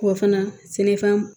K'o fana sɛnɛfɛn